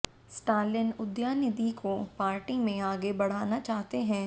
Stalin Udhayanidhi को party में आगे बढ़ाना चाहते हैं